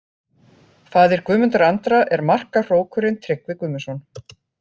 Faðir Guðmundar Andra er markahrókurinn Tryggvi Guðmundsson.